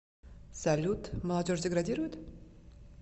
салют молодежь деградирует